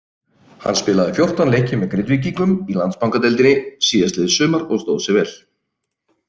Hann spilaði fjórtán leiki með Grindvíkingum í Landsbankadeildinni síðastliðið sumar og stóð sig vel.